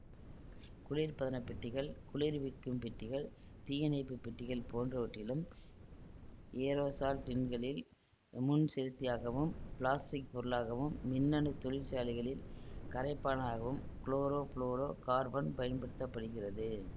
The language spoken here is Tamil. குளிர்பதனப் பெட்டிகள் குளிர்விக்கும் பெட்டிகள் தீயணைப்பு பெட்டிகள் போன்றவற்றிலும் ஏரோசால் டின்களில் முன்செலுத்தியாகவும் பிளாஸ்டிக் பொருளாகவும் மின்னணுத் தொழிற் சாலைகளில் கரைப்பானாகவும் குளோரோ ஃபுளோரோ கார்பன் பயன்படுத்த படுகிறது